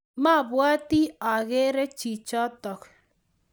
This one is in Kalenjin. mabwoti agere chichotok